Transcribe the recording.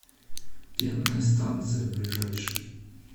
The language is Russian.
пенная станция ближайший